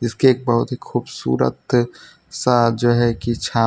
इसके एक बहुत ही खूबसूरत सा जो है कि छांव--